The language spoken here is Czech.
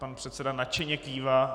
Pan předseda nadšeně kývá.